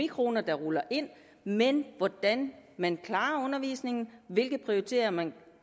kroner der ruller ind men det handler hvordan man klarer undervisningen hvilke prioriteter man